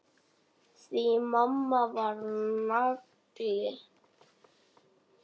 Því mamma var nagli.